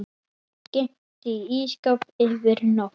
Geymt í ísskáp yfir nótt.